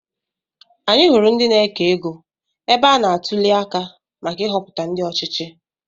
Anyị hụrụ ndị na-eke égo ebe a na-atuli aka maka Ihopụta ndị ọchịchị.